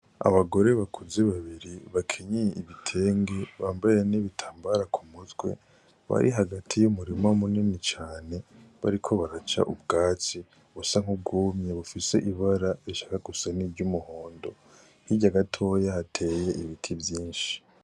Abagore bakuze babiri bakenyeye ibitenge, bambaye n'ibitambara ku mutwe, bari hagati y'umurima munini cane bariko baraca ubwatsi busa nk'ubwumye bufise ibara rishaka gusa nk'umuhondo. Hirya gatoyi hateye ibiti vyinshi.